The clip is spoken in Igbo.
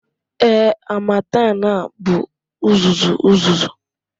Ee, harmattan bụ uzuzu uzuzu.